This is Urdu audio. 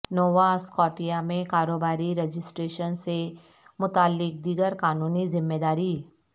نووا اسکاٹیا میں کاروباری رجسٹریشن سے متعلق دیگر قانونی ذمہ داری